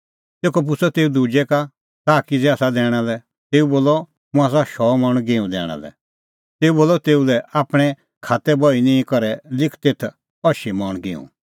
तेखअ पुछ़अ तेऊ दुजै का ताह किज़ै आसा दैणा लै तेऊ बोलअ मुंह आसा शौ मण गिंहूं दैणा लै तेऊ बोलअ तेऊ लै आपणीं खात्तैबही निंईं करै लिख तेथ अशी मण गिंहूं